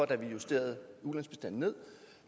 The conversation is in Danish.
da vi justerede ulandsbistanden ned